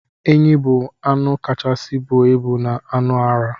Enyi bu anụ kachasi buọ ibụ na anụ ara.